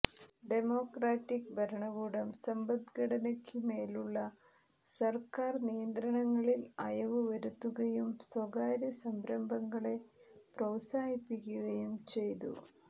democratic ഭരണകൂടം സമ്പദ്ഘടനയ്ക്കുമേലുള്ള സർക്കാർ നിയന്ത്രണങ്ങളിൽ അയവു വരുത്തുകയും സ്വകാര്യ സംരംഭങ്ങളെ പ്രോത്സാഹിപ്പിക്കുകയും ചെയ്തു